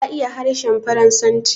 Ka iya harshen Faransanci?